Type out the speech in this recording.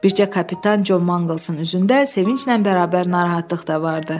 Bircə kapitan Con Manqlsın üzündə sevinclə bərabər narahatlıq da vardı.